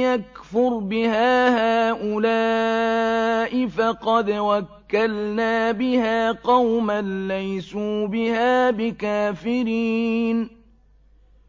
يَكْفُرْ بِهَا هَٰؤُلَاءِ فَقَدْ وَكَّلْنَا بِهَا قَوْمًا لَّيْسُوا بِهَا بِكَافِرِينَ